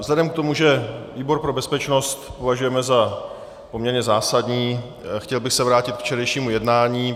Vzhledem k tomu, že výbor pro bezpečnost považujeme za poměrně zásadní, chtěl bych se vrátit k včerejšímu jednání.